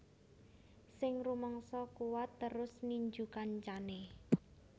Sing rumangsa kuwat terus ninju kancane